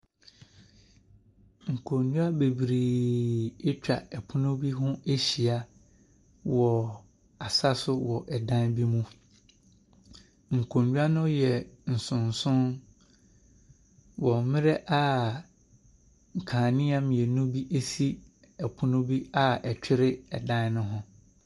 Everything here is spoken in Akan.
Nkonnwa bebree atwa pono bi ho ahyia wɔ asa so wɔ dan bi mu. Nkonnwa no yɛ nson nson wɔ mmerɛ a nkanea mmienu bi si pono bi a ɛtwere dan no ho.